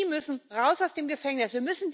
Die müssen raus aus dem Gefängnis!